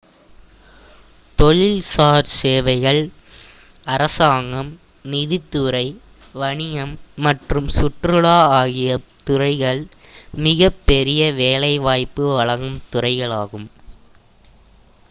தொழில்சார் சேவைகள் அரசாங்கம் நிதித்துறை வணிகம் மற்றும் சுற்றுலா ஆகிய துறைகள் மிகப் பெரிய வேலைவாய்ப்பு வழங்கும் துறைகளாகும்